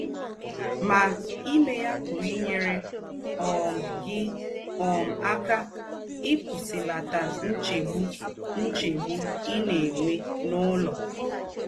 Mà, ímè yà pùrù ínyèrè um gị̀ um ákà íkpùsìlàtà ńchègbù ńchègbù í ná-ènwè n’ùlọ̀.